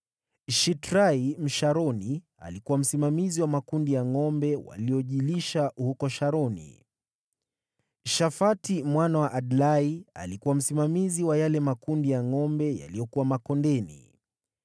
Shitrai Msharoni alikuwa msimamizi wa makundi ya ngʼombe waliojilisha huko Sharoni. Shafati mwana wa Adlai alikuwa msimamizi wa yale makundi ya ngʼombe yaliyokuwa makondeni.